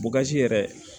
yɛrɛ